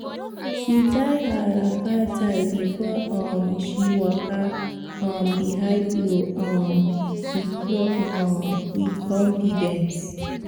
she tie her wrapper tight before um she waka um behind plow um with plow um with confidence